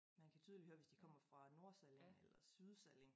Man kan tydeligt høre hvis de kommer fra nordsalling eller sydsalling